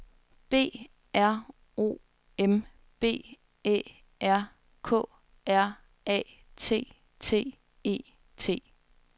B R O M B Æ R K R A T T E T